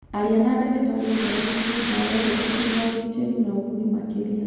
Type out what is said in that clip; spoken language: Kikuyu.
Aria na ndagĩtarĩ ũhoro wĩgiĩ ndawa iria irĩ na ũgitĩri na ũguni makĩria.